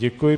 Děkuji.